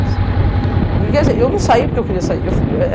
E quer dizer, eu não saí porque eu queria sair. eu fui para...